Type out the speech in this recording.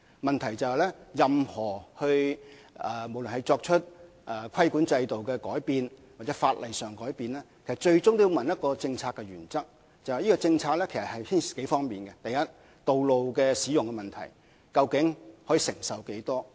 問題在於任何對規管制度或法例所作出的改變，最終也觸及一個政策原則，牽涉以下數方面的政策：第一是道路使用問題，承受能力究竟有多大。